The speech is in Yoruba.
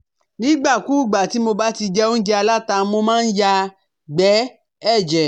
Nígbàkúùgbà tih mo bá ti jẹ óúnjẹ aláta, mo máa ń yàgbẹ̀ ẹ̀jẹ̀